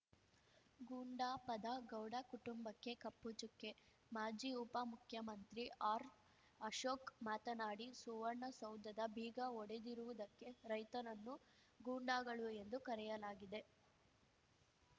ಗುಂಡಾ ಪದ ಗೌಡ ಕುಟುಂಬಕ್ಕೆ ಕಪ್ಪು ಚುಕ್ಕೆ ಮಾಜಿ ಉಪಮುಖ್ಯಮಂತ್ರಿ ಆರ್‌ಅಶೋಕ್‌ ಮಾತನಾಡಿ ಸುವರ್ಣಸೌಧದ ಬೀಗ ಒಡೆದಿರುವುದಕ್ಕೆ ರೈತರನ್ನು ಗೂಂಡಾಗಳು ಎಂದು ಕರೆಯಲಾಗಿದೆ